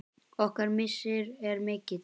Okkar missir er mikill.